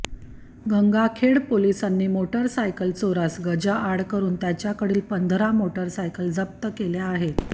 गंगाखेड पोलिसांनी मोटारसायकल चोरास गजाआड करून त्याच्याकडील पंधरा मोटारसायकल जप्त केल्या आहेत